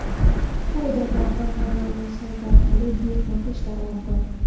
Xaridorlar kompaniyaning sayti orqali buyurtma qilishlari mumkin.